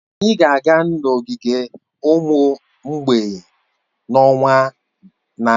Anyị ga-aga n'ogige ụmụ mgbei n'ọnwa na-abịa